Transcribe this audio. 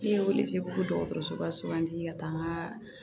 Ne ye wili se fo dɔgɔtɔrɔsoba suganti ka taa